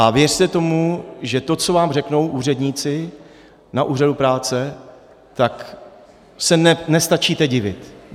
A věřte tomu, že to, co vám řeknou úředníci na úřadu práce, tak se nestačíte divit.